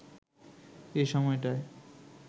এ সময়টায়